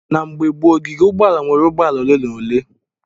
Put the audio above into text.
Na mgbe gboo, ogige ụgbọala nweere ụgbọ ala ole na ole.